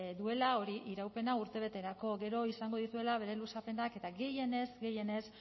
duela hori iraupena urtebeterako gero izango dituela bere luzapenak eta gehienez gehienez